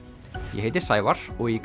ég heiti Sævar og í